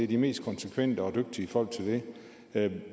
de mest konsekvente og dygtige folk til det